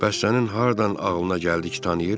Bəs sənin hardan ağlına gəldi ki tanıyır?